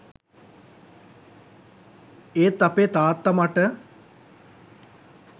ඒත් අපේ තාත්තා මට